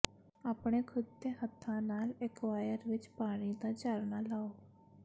ਆਪਣੇ ਖੁਦ ਦੇ ਹੱਥਾਂ ਨਾਲ ਐਕੁਆਇਰ ਵਿੱਚ ਪਾਣੀ ਦਾ ਝਰਨਾ ਲਾਓ